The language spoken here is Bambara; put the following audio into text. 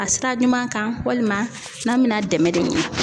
A sira ɲuman kan walima n'a be na dɛmɛ de ɲini.